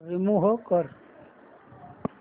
remove कर